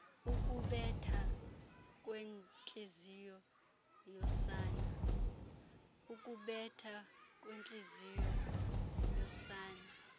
ukubetha kwentliziyo yosana